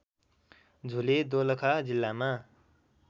झुले दोलखा जिल्लामा